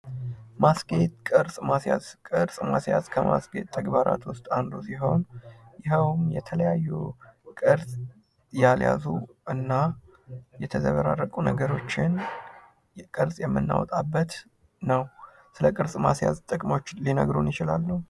ማስጌጥ ቅርፅ ማስያዝ ከማስጌጥ ተግባራት ውስጥ አንዱ ሲሆን ፤ ይኸውም የተለያዩ ቅርጽ ያልያዙ እና የተዘበራረቁ ነገሮችን ቅርጽ የምንወጣበት ነው። ስለ ቅርፅ ማስያዝ ጥቅሞችን ሊናገሩ ይችላሉ?